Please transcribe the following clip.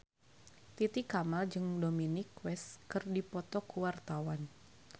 Titi Kamal jeung Dominic West keur dipoto ku wartawan